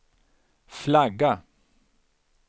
flagga